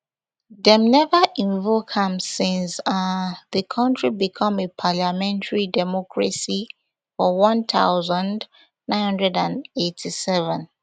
dem never invoke am since um the country become a parliamentary democracy for one thousand, nine hundred and eighty-seven